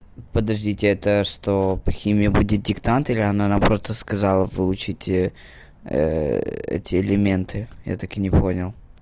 подождите это что по химии будет диктант или она просто сказала выучить эти элементы я так и не понял